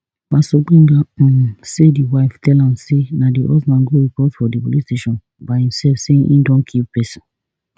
pastor gbenga um say di wife tell am say na di husband go report for di police station by imsef say e don kill pesin